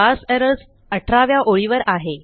parse errors अठराव्या ओळीवर आहे